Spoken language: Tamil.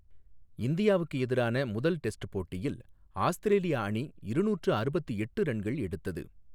இந்தியாவுக்கு எதிரான முதல் டெஸ்ட் போட்டியில் ஆஸ்திரேலியா அணி இருநூற்று அறுபத்து எட்டு ரன்கள் எடுத்தது.